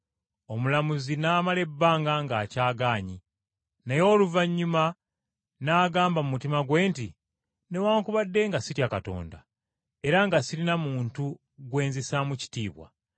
“Omulamuzi n’amala ebbanga ng’akyagaanyi. Naye oluvannyuma n’agamba mu mutima gwe nti, ‘Newaakubadde nga sitya Katonda era nga sirina muntu gwe nzisaamu kitiibwa,